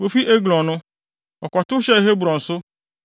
Wofi Eglon no, wɔkɔtow hyɛɛ Hebron so,